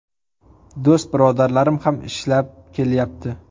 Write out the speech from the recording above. Do‘st-birodarlarim ham ishlab kelyapti.